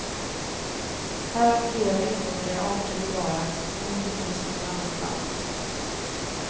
Här har flera uråldriga arter bevarats som inte finns någon annanstans.